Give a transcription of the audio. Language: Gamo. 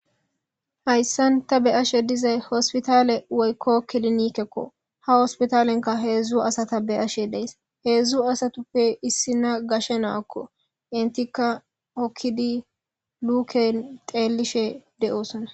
Haysan ta be'ishe dizay hospitale woyko kilinikekko ha hospitalenkka hedzu asata be'ashe days hedzu asatape issina gashe na'akko entika hokidi Luke xelishe de'osona.